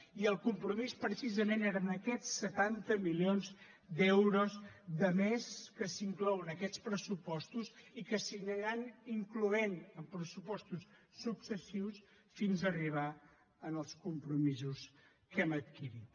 i el compromís precisament eren aquests setanta milions d’euros de més que s’inclouen en aquests pressupostos i que s’aniran incloent en pressupostos successius fins a arribar als compromisos que hem adquirit